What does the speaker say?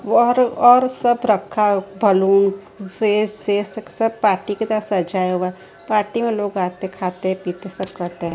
वहर और सब रखा बलून से पार्टी की तरह सजाया हुआ पार्टी में लोग आते खाते पीते सब करते हैं।